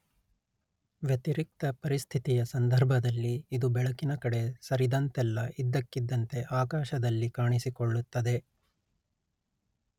ವ್ಯತಿರಿಕ್ತ ಪರಿಸ್ಥಿತಿಯ ಸಂದರ್ಭದಲ್ಲಿ ಇದು ಬೆಳಕಿನ ಕಡೆ ಸರಿದಂತೆಲ್ಲ ಇದ್ದಕ್ಕಿದ್ದಂತೆ ಆಕಾಶದಲ್ಲಿ ಕಾಣಿಸಿಕೊಳ್ಳುತ್ತದೆ